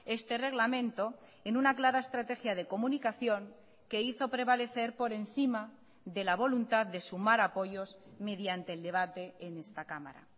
este reglamento en una clara estrategia de comunicación que hizo prevalecer por encima de la voluntad de sumar apoyos mediante el debate en esta cámara